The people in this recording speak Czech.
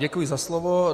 Děkuji za slovo.